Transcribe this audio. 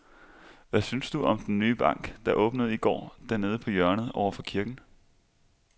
Hvad synes du om den nye bank, der åbnede i går dernede på hjørnet over for kirken?